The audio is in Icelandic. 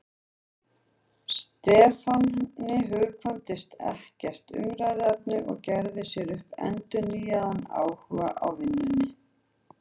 Stefáni hugkvæmdist ekkert umræðuefni og gerði sér upp endurnýjaðan áhuga á vinnunni.